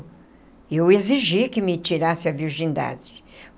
E eu exigi que me tirasse a virgindade.